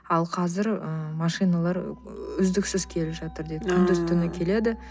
ал қазір ы машиналар үздіксіз келіп жатыр дейді ыыы күндіз түні келеді